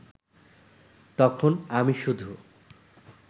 তখন আমি শুধু